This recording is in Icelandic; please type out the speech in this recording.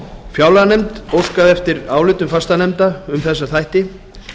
fjárlaganefnd óskaði eftir álitum fastanefnda um þessa þætti